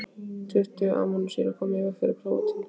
Tuttugu amínósýrur koma fyrir í prótínum.